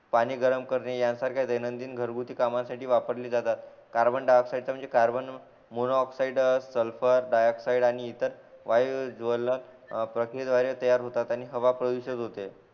पाणी गरम करणे यांसारख्या दैनंदिन घरगुती कामासाठी वापरली जातात कार्बन डाय ओक्साईडच म्हणजे carbon monoxide sulphur dioxide आणि ईतर वायू ज्वलन प्रक्रीये द्वारे तयार होतात आणि हवा प्रदूषित होते